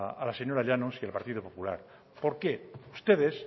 a la señora llanos y al partido popular porque ustedes